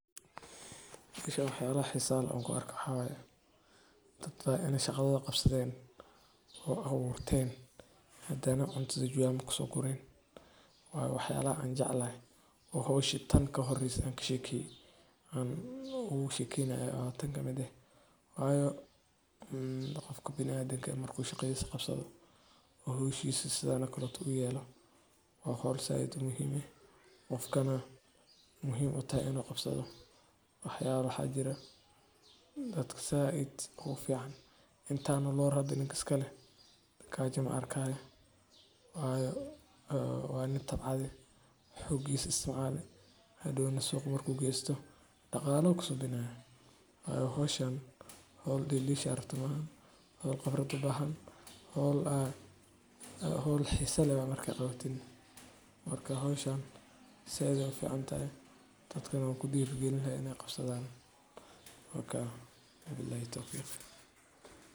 Gaariga qaadka waa gaari loo isticmaalo in lagu raro laguna gaarsiiyo qaadka meelaha uu ka baxo ilaa meelaha lagu iibiyo ama lagu cuno. Qaadku waa geed caleen ah oo dadka qaarkiis isticmaalaan si ay isugu maaweeliyaan, inkastoo uu leeyahay saameyn maskaxeed oo muran dhalin kara. Gaariga qaadka sida badan waa nooc kasta oo gaari ah, sida baabuurta xamuulka ama kuwa yar-yar ee raaxada, iyadoo ay ku xiran tahay qadarka qaadka la raranayo.